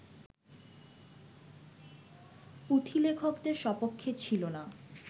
পুঁথিলেখকদের সপক্ষে ছিল না